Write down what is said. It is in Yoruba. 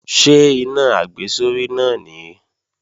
Ṣé iná àgbésórí náà nìí?